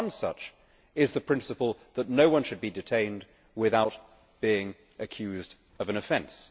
One such is the principle that no one should be detained without being accused of an offence.